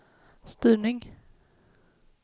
styrning